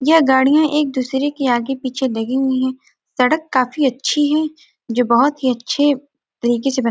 यह गाड़ियाँ एक दूसरे के आगे पीछे लगी हुई है सड़क काफी अच्छी है जो बहुत ही अच्छे तरीके से ब --